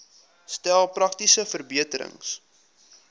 stel praktiese verbeterings